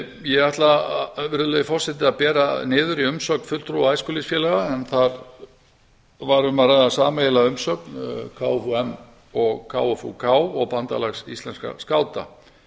ég ætla að bera niður í umsögn fulltrúa æskulýðsfélaga en þar var um að ræða sameiginlega umsögn kfum og kfuk og bandalags íslenskra skáta